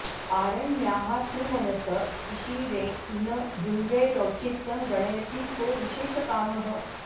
आरण्याः सुमनस ईषिरे न भृङ्गैरौचित्यं गणयति को विशेषकामः